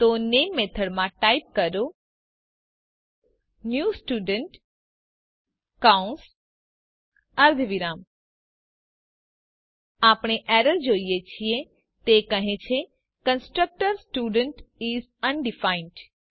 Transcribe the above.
તો નામે મેથડમાં ટાઇપ કરો ન્યૂ સ્ટુડન્ટ કૌસ અર્ધવિરામ આપણે એરર જોઈએ છીએ તે કહે છે કન્સ્ટ્રક્ટર સ્ટુડન્ટ ઇસ અનડિફાઇન્ડ